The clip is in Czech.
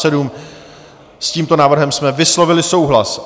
S tímto návrhem jsme vyslovili souhlas.